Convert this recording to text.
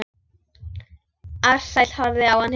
Ársæll horfði á hann hissa.